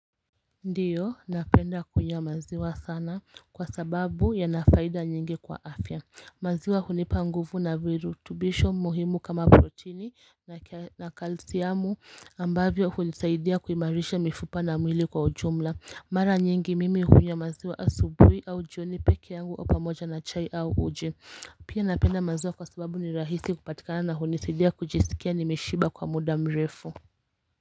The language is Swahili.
Ndiyo napenda kunywa maziwa sana kwa sababu ya nafaida nyingi kwa afya maziwa hunipa nguvu na viru tubisho muhimu kama protini na kalsiamu ambavyo hunisaidia kuimarisha mifupa na mwili kwa ujumla mara nyingi mimi hunywa maziwa asubui au jioni peke yangu au pamoja na chai au uji pia napenda maziwa kwa sababu ni rahisi kupatikana na hunisidia kujisikia nimeshiba kwa muda mrefu.